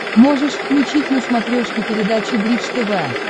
можешь включить на смотрешке передачу бридж тв